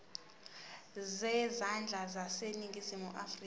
zezandla zaseningizimu afrika